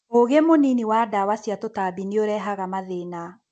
ũgĩ mũnini wa ndawa cia tũtambi nĩũrehaga mathĩna.